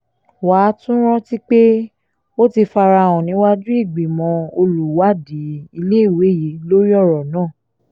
wà á tún rántí pé ó ti fara hàn níwájú ìgbìmọ̀ olùwádìí iléèwé yìí lórí ọ̀rọ̀ náà